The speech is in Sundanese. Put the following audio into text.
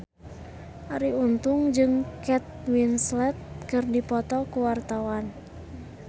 Arie Untung jeung Kate Winslet keur dipoto ku wartawan